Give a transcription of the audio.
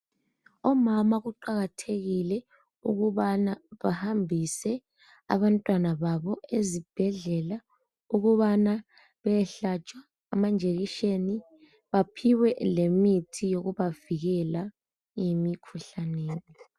omama kuqakathekile ukubana bahambise abantwana babo ezibhedlela beyehlatshwa amanjekiseni baphiwe lemitho yokubavikela emikhuhla ne